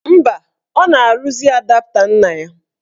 Mba, ọ na-arụzi adapta nna ya.